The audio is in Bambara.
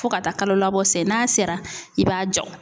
Fo ka taa kalolabɔ se n'a sera i b'a jɔ .